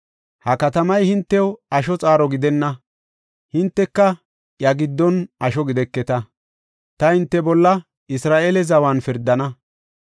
Ha katamay hintew asho xaaro gidenna; hinteka iya giddon asho gideketa. Ta hinte bolla Isra7eele zawan pirdana.